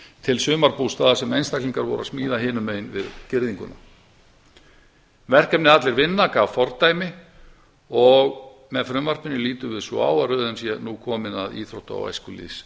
til sumarbústaða sem einstaklingar voru að smíða hinum megin við girðinguna verkefnið allir vinna gaf fordæmi og með frumvarpinu lítum svið svo á að bæði í s í nú komin að íþrótta og